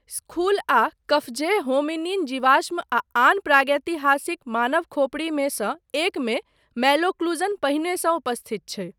School आ Qafzeh hominin जीवाश्म आ आन प्रागैतिहासिक मानव खोपड़ीमे सँ एकमे मैलोक्लूजन पहिनेसँ उपस्थित छै।